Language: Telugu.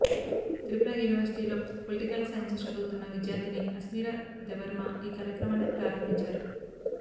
త్రిపుర యూనివర్సిటీలో పొలిటికల్ సైన్సు చదువుతున్న విద్యార్థిని అస్మిరా దెబర్మా ఈ కార్యక్రమాన్ని ప్రారంభించారు